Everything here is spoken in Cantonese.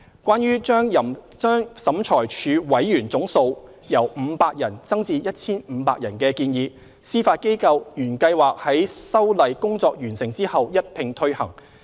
關於把審裁處委員總人數由500人增至 1,500 人的建議，司法機構原計劃在修例工作完成後一併推行。